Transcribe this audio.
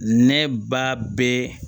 Ne ba bɛ